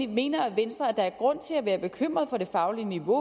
mener venstre at der er grund til at være bekymret for det faglige niveau